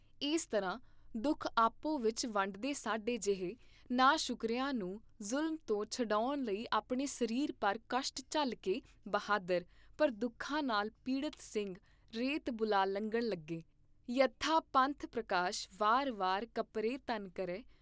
ਇਸ ਤਰ੍ਹਾਂ ਦੂਖ ਆਪੋ ਵਿਚ ਵੰਡਦੇ ਸਾਡੇ ਜੇਹੇ ਨਾਸ਼ੁਕਰਿਆਂ ਨੂੰ ਜ਼ੁਲਮ ਤੋਂ ਛੁਡਾਉਣ ਲਈ ਆਪਣੇ ਸਰੀਰ ਪਰ ਕਸ਼ਟ ਝੱਲ ਕੇ ਬਹਾਦਰ, ਪਰ ਦੁੱਖਾਂ ਨਾਲ ਪੀੜਤ ਸਿੰਘ ਰੇਤ ਬੁਲਾ ਲੰਘਣ ਲੱਗੇ, ਯਥਾ ਪੰਥ ਪ੍ਰਕਾਸ਼ ਵਾਰ ਵਾਰ ਕਪਰੇ ਤਨ ਕਰੇ।